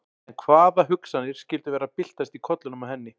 En hvaða hugsanir skyldu vera að byltast í kollinum á henni?